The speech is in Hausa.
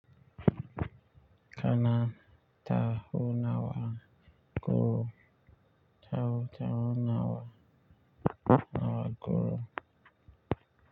Kana tahunawa guru. Tahun-tahun nawa, nawa guru.